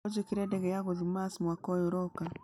ũnjĩkĩre ndege ya gũthiĩ Mars mwaka ũyũ ũroka